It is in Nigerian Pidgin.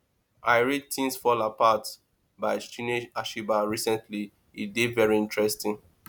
i read things fall apart by chinue achebe recently e dey very interesting